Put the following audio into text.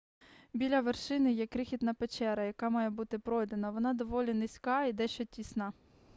біля вершини є крихітна печера яка має бути пройдена вона доволі низька і дещо тісна